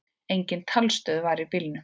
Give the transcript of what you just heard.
Engin talstöð var í bílnum.